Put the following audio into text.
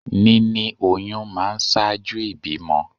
Níní oyún máa ń ṣáájú ìbímọ